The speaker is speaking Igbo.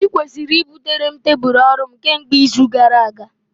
Ị kwesịrị butere m tebụl ọrụ m kemgbe izu gara aga!